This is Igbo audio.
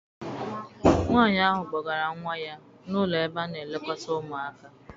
Nwaanyi ahụ kpọgara nwa ya n'ụlọ ebe a na- elekọta ụmụaka.